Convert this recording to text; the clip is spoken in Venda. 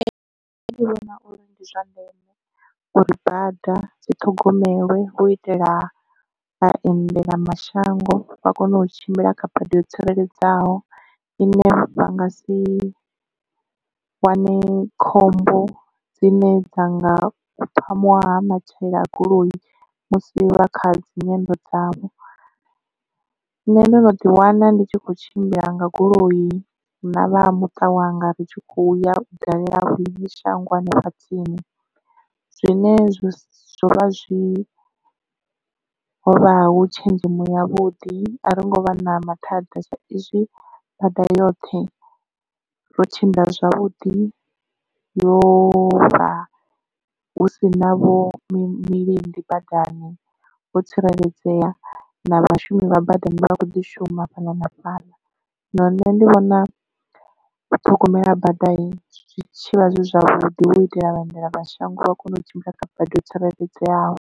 Nṋe ndi vhona uri ndi zwa ndeme uri bada dzi ṱhogomelwe hu itela vhaendela mashango vha kone u tshimbila kha bada yo tsireledzaho ine vha nga si wane khombo dzine dza nga phamuwa matshilela a goloi musi vha kha dzinyendo dzavho. Nṋe ndo no ḓi wana ndi tshi kho tshimbila nga goloi na vha muṱa wanga ri tshi khou ya dalela liṅwe shango hanefha tsini zwine zwo vha zwi hovha hu tshenzhemo yavhuḓi a ri ngo vha na mathada sa izwi bada yoṱhe ro tshimbila zwavhuḓi yo vha husi navho milindi badani vho tsireledzea na vhashumi vha badani vha kho ḓi shuma fhaḽa na fhaḽa zwino nṋe ndi vhona u ṱhogomela bada zwitshivha zwi zwavhuḓi hu itela vhaendela mashango vha kone u tshimbila kha badi ho tsireledzeaho.